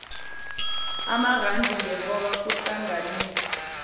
amarandi ngehora kuhlanganiswa